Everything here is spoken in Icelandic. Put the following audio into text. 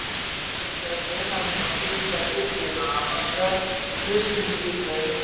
Nauðsynlegt er að gera greinarmun á siðfræði Biblíunnar annars vegar og kristinni siðfræði hins vegar.